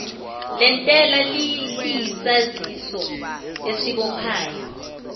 lentela liyisaziso esibophayo